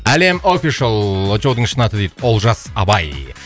әлем офишал очоудың шын аты дейді олжас абай